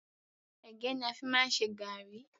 Ẹ̀gẹ́ ni a fi máa ń ṣe garri